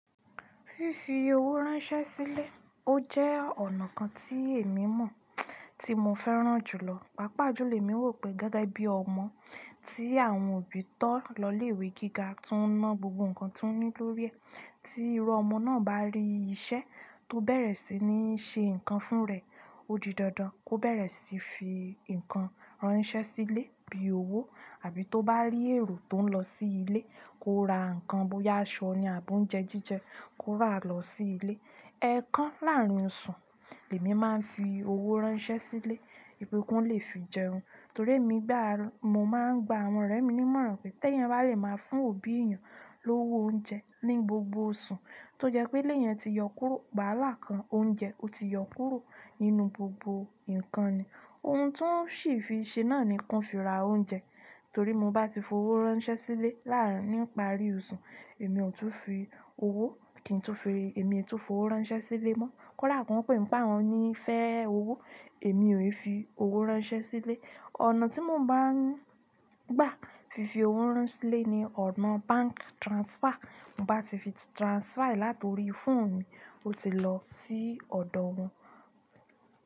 Fífi owó ránṣẹ́ sílé, ó jẹ́ ọ̀nà kan tí èmi mọ̀ tí mo fẹ́ràn jù lọ. Pápá julọ, emi wò pé gẹ́gẹ́ bí ọmọ tí àwọn òbí tọ́ lọ ilé ìwé gíga tiwọn ná gbogbo nǹkan tí ó ní lórí ẹ̀, tí iru ọmọ náà bá rí iṣẹ́ tó bẹ̀rẹ̀ sí ní ṣe nǹkan fún rẹ̀, ó di dandan kó bẹ̀rẹ̀ sí fi nǹkan ránṣẹ́ sílé bí i owó àbí tó bá rí èrò tó ń lọ sí ilé kó ra nǹkan bóyá aṣọ ni àbí oúnjẹ jíjẹ kó ra lọ sí ilé. Ẹ̀ẹ̀kan láàárín oṣù, lèmi máa ń fi owó ránṣẹ́ sílé, wipé ki wọn lè fi jẹun. Torí èmi mo máa ń gba àwọn ọ̀rẹ́ mi ní mọ̀ràn pé tẹ́ èèyàn bá lè máa fún òbí ìyàn lówo oúnjẹ ní gbogbo oṣù tó jẹ́ pé eleyẹn ti yọ kúrò, waala kan oúnjẹ ó ti yọ kúrò nínú gbogbo ǹnkan ni. Ohun ti wọn sì fi ṣe náà ni ki wọn fi ra oúnjẹ. Torí mo bá ti fi owó ránṣẹ́ sílé láàárín níparí oṣù, èmi ò tún fi owó ránṣẹ́ sílé mọ́. Kódà ki wọn pé nì pe àwọn fẹ́ owó, èmi ò fi owó ránṣẹ́ sílé. Ọ̀nà tí mo máa ń gbà fífi owó ránṣẹ́ sílé ni ọ̀nà báǹkì transfer. Mo bá ti fi transfer láti orí fóònù mi ó ti lọ sí ọ̀dọ̀ wọn.